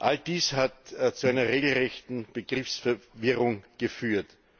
All dies hat zu einer regelrechten Begriffsverwirrung geführt.